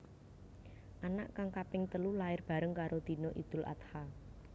Anak kang kaping telu lair bareng karo dina Idul Adha